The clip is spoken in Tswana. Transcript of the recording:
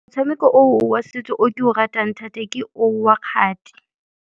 Motshameko o wa setso o ke o ratang thata, ke o wa kgati.